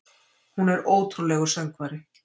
Hún er ótrúlegur söngvari.